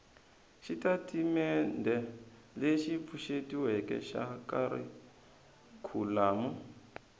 xitatimendhe lexi pfuxetiweke xa kharikhulamu